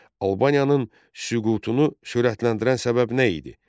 Albaniyanın süqutunu sürətləndirən səbəb nə idi?